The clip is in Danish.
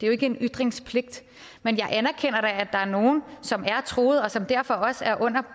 jo ikke en ytringspligt men jeg anerkender da at der er nogle som er truede og som derfor også er under